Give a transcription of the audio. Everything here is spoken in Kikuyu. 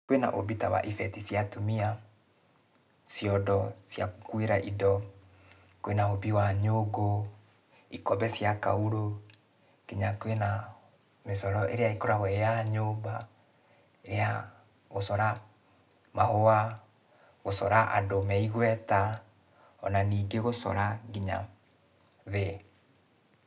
Kwĩna ũmbi ta wa ibeti cia atumia, ciondo cia gũkuĩra indo, kwĩna ũmbi wa nyũngũ, ikombe cia kaurũ, kinya kwĩna mĩcoro ĩrĩa ĩkoragwo ĩ ya nyũmba, ya gũcora mahũa, gũcora andũ me igweta, ona ningĩ gũcora kinya thĩ.